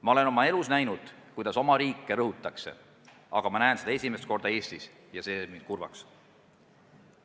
Ma olen oma elus näinud, kuidas oma riike rõhutakse, aga nüüd näen ma seda esimest korda ka Eestis ja see teeb mind kurvaks.